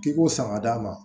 K'i ko san ka d'a ma